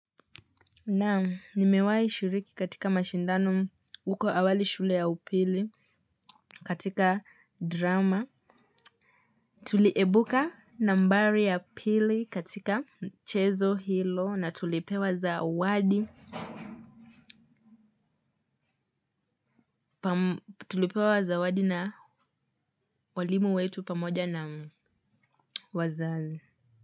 Naam nimewai shiriki katika mashindano uko awali shule ya upili katika drama. Tuliebuka nambari ya pili katika mchezo hilo na tulipewa zawadi. Tulipewa zawadi na walimu wetu pamoja na wazazi.